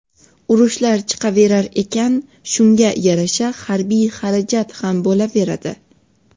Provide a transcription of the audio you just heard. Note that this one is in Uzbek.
Urushlar chiqaverar ekan, shunga yarasha harbiy xarajat ham bo‘laveradi.